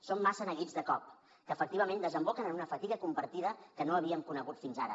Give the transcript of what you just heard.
són massa neguits de cop que efectivament desemboquen en una fatiga compartida que no havíem conegut fins ara